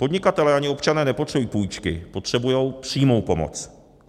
Podnikatelé ani občané nepotřebují půjčky, potřebují přímou pomoc.